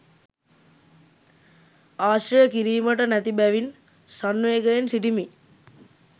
ආශ්‍රය කිරීමට නැති බැවින් සංවේගයෙන් සිටිමි.